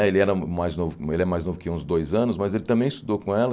Ele era mais novo ele é mais novo que eu uns dois anos, mas ele também estudou com ela.